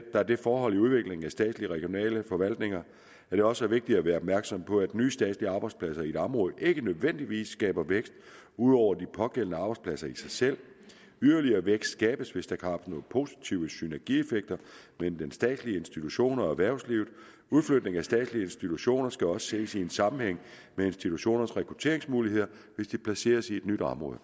der det forhold i udviklingen af statslige regionale forvaltninger at det også er vigtigt at være opmærksom på at nye statslige arbejdspladser i et område ikke nødvendigvis skaber vækst ud over de pågældende arbejdspladser i sig selv yderligere vækst skabes hvis der kan opnås positive synergieffekter mellem den statslige institution og erhvervslivet udflytning af statslige institutioner skal også ses i en sammenhæng med institutionernes rekrutteringsmuligheder hvis de placeres i et nyt område